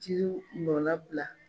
Jiriw nɔnnabila.